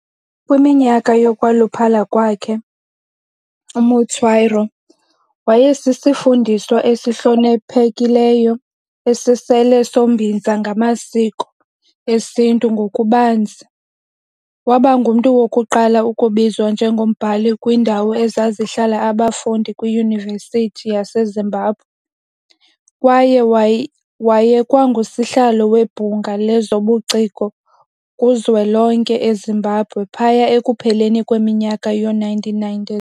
Kwiminyaka yokwaluphala kwakhe, uMutswairo wayesisifundiswa esihloniphekileyo esisisele sombinza ngamasiko esintu ngokubanzi. Waba ngumntu wokuqala ukubizwa njengombhali kwindawo ezazihlala abafundi kwiYunivesithi yaseZimbabwe, kwaye wayekwangusihlalo weBhunga lezobuciko kuZwelonke eZimbabwe phaya ekupheleni kweminyaka yoo-1990s.